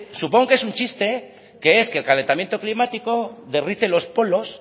supongo que es un chiste que es que el calentamiento climático derrite los polos